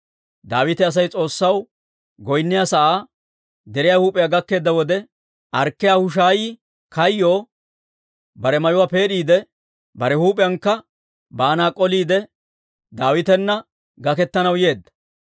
Daawite Asay S'oossaw goynniyaa sa'aa, deriyaa huup'iyaa gakkeedda wode, Arkkiyaa Hushaayi kayyoo bare mayuwaa peed'iide, bare huup'iyaankka baana k'oliide, Daawitana gaketanaw yeedda.